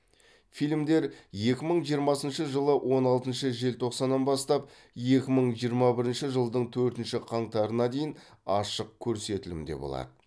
фильмдер екі мың жиырмасыншы жылы он алтыншы желтоқсаннан бастап екі мың жиырма бірінші жылдың төртінші қаңтарына дейін ашық көрсетілімде болады